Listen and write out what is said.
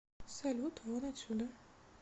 салют вон отсюда